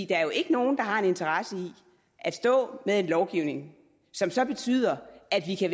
der er jo ikke nogen der har en interesse i at stå med en lovgivning som så betyder at vi kan